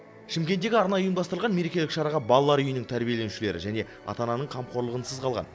шымкенттегі арнайы ұйымдастырылған мерекелік шараға балалар үйінің тәрбиеленушілері және ата ананың қамқорлығынсыз қалған